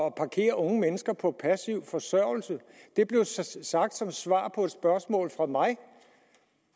at parkere unge mennesker på passiv forsørgelse det blev sagt som svar på et spørgsmål fra mig